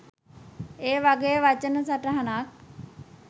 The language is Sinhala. ඒ වගේ වචන සටහනක්